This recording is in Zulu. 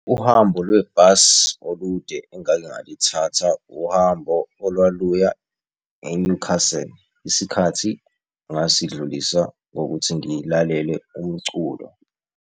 Uhambo lwebhasi olude engake ngalithatha uhambo olwaluya e-Newcastle isikhathi ngasidlulisa ngokuthi ngilalele umculo.